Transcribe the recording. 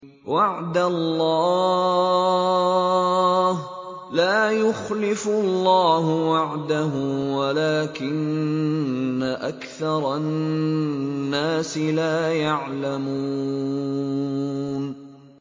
وَعْدَ اللَّهِ ۖ لَا يُخْلِفُ اللَّهُ وَعْدَهُ وَلَٰكِنَّ أَكْثَرَ النَّاسِ لَا يَعْلَمُونَ